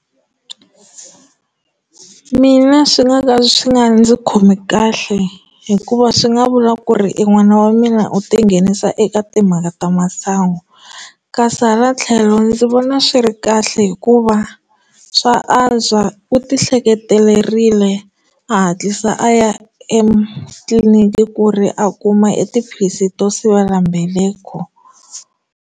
Mina swi nga ka swi nga ndzi khomi kahle hikuva swi nga vula ku ri i n'wana wa mina u ti nghenisa eka timhaka ta masangu kasi hala tlhelo ndzi vona na swi ri kahle hikuva swa antswa u ti ehleketerile a hatlisa a ya etliliniki ku ri a kuma etiphilisi to sivelambeleko.